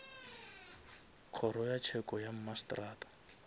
kgoro ya tsheko ya mmasetrata